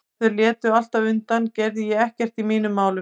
Ef þau létu alltaf undan gerði ég ekkert í mínum málum.